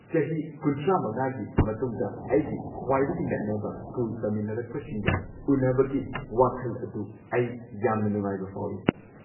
ꯆꯍꯤ ꯳꯵ꯒꯤ ꯃꯇꯨꯡꯗ ꯑꯩꯒꯤ ꯈ꯭ꯋꯥꯏꯗꯒꯤ ꯅꯛꯅꯕ ꯁ꯭ꯀꯨꯜ ꯇꯝꯃꯤꯟꯅꯔꯛꯄꯁꯤꯡꯒ ꯎꯟꯅꯕꯒꯤ ꯋꯥꯈꯜ ꯑꯗꯨ ꯑꯩ ꯌꯥꯝꯅ ꯅꯨꯡꯉꯥꯏꯕ ꯐꯥꯎꯢ꯫